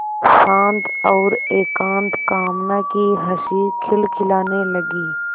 शांत और एकांत कामना की हँसी खिलखिलाने लगी